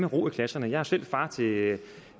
ro i klasserne jeg er selv far til